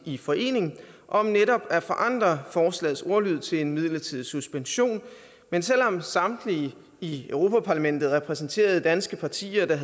i forening om netop at forandre forslagets ordlyd til en midlertidig suspension men selv om samtlige af i europa parlamentet repræsenterede danske partier